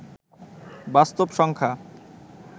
বাস্তব সংখ্যা